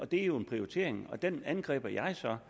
det jo er en prioritering den prioritering angriber jeg så